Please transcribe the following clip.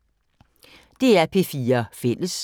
DR P4 Fælles